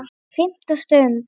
FIMMTA STUND